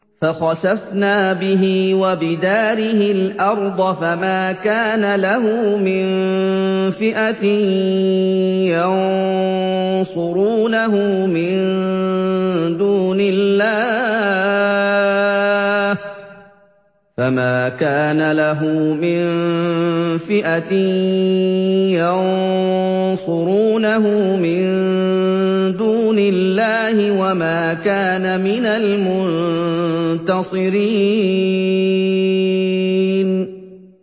فَخَسَفْنَا بِهِ وَبِدَارِهِ الْأَرْضَ فَمَا كَانَ لَهُ مِن فِئَةٍ يَنصُرُونَهُ مِن دُونِ اللَّهِ وَمَا كَانَ مِنَ الْمُنتَصِرِينَ